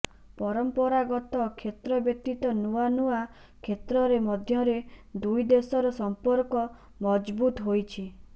ପରମ୍ପରାଗତ କ୍ଷେତ୍ର ବ୍ୟତିତ ନୂଆ ନୂଆ କ୍ଷେତ୍ରରେ ମଧ୍ୟରେ ଦୁଇ ଦେଶର ସମ୍ପର୍କ ମଜବୁତ୍ ହୋଇଛି